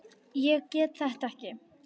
Ég get þetta ekki.